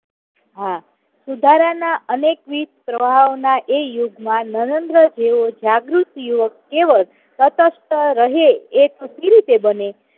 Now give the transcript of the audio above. હા, સુધારાના અનેકવિધ દબાવના એ યુગમાં નરેન્દ્ર જેવો જાગૃત યુવક એવો જ સતત રહે એ કેવી રીતે બને?